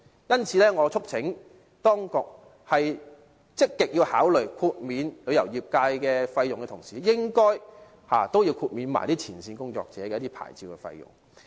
因此，我促請當局在積極考慮豁免旅遊業界費用的同時，亦應該豁免前線工作者的牌照費用。